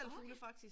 Okay